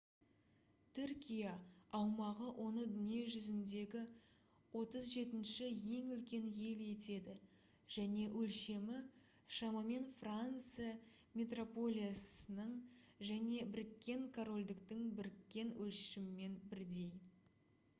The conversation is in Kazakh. түркия аумағы оны дүние жүзіндегі 37-ші ең үлкен ел етеді және өлшемі шамамен франция метрополиясының және біріккен корольдіктің біріккен өлшемімен бірдей